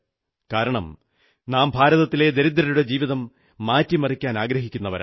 കാരണം നാം ഭാരതത്തിലെ ദരിദ്രരുടെ ജീവിതം മാറ്റിമറിക്കാൻ ആഗ്രഹിക്കുന്നവരാണ്